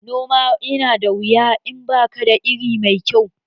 Noma ya na da wuya in bakada iri mai kyau